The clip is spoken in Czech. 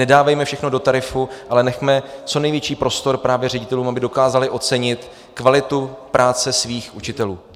Nedávejme všechno do tarifu, ale nechme co největší prostor právě ředitelům, aby dokázali ocenit kvalitu práce svých učitelů.